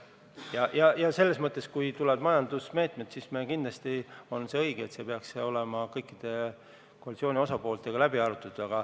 Kui tulevad majandusmeetmed, siis kindlasti on õige, et need peaks olema ka kõikide koalitsiooni osapooltega läbi arutatud.